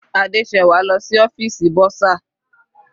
Adesewa lọ sí ọ́fìsì bursar.